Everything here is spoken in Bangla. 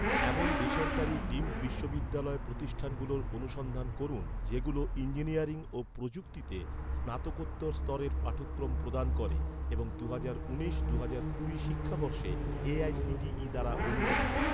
এমন বেসরকারি ডিমড বিশ্ববিদ্যালয় প্রতিষ্ঠানগুলোর অনুসন্ধান করুন, যেগুলো ইঞ্জিনিয়ারিং ও প্রযুক্তিতে স্নাতকোত্তর স্তরের পাঠক্রম প্রদান করে এবং দুহাজার উনিশ দুহাজার কুড়ি শিক্ষাবর্ষে, এ.আই.সি.টি.ই দ্বারা অনুমোদিত